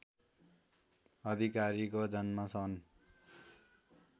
अधिकारीको जन्म सन्